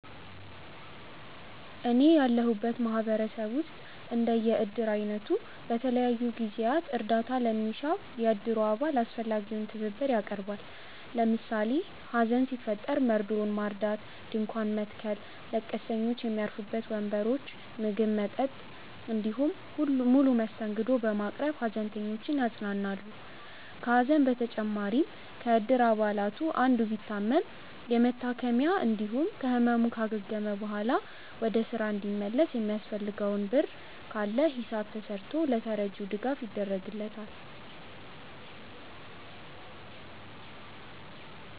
እኔ ያለሁበት ማህበረሰብ ውስጥ እንደ የእድር አይነቱ በተለያዩ ጊዜያት እርዳታ ለሚሻው የእድሩ አባል አስፈላጊውን ትብብር ያቀርባል። ለምሳሌ ሀዘን ሲፈጠር መርዶውን ማርዳት፣ ድንኳን መትከል፣ ለቀስተኞች ሚያርፉበት ወንበሮች፣ ምግብ፣ መጠጥ እንዲሁም ሙሉ መስተንግዶ በማቅረብ ሃዘንተኞችን ያጽናናሉ። ከሀዘን በተጨማሪም ከእድር አባላቱ አንዱ ቢታመም የመታከሚያ እንዲሁም ከህመሙ ካገገመ በኋላ ወደ ስራ እንዲመለስ የሚያስፈልገው ብር ካለ ሂሳብ ተስርቶ ለተረጂው ድጋፍ ይደረግለታል።